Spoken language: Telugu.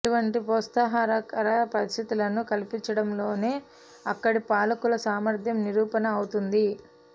అటువంటి ప్రోత్సాహకర పరిస్థితులను కల్పించడంలోనే అక్కడి పాలకుల సామర్థ్యం నిరూపణ అవుతుంది